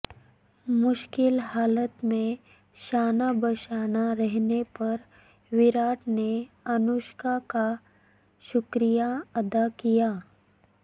مشکل حالات میں شانہ بشانہ رہنے پر ویراٹ نے انوشکا کا شکریہ ادا کیا